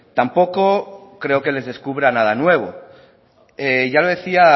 tampoco creo que les descubra nada nuevo ya lo decía